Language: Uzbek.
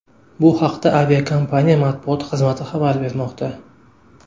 Bu haqda aviakompaniya matbuot xizmati xabar bermoqda .